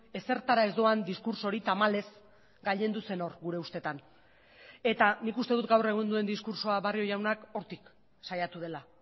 ezertara ez doan diskurtso hori tamalez gailendu zen hor gure ustetan eta nik uste dut gaur egun duen diskurtsoa barrio jaunak hortik saiatu dela